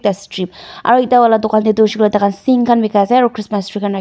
aru etia wala dukan te toh hoishe koile toh taikhan sink khan bikai ase aru christmas tree rak.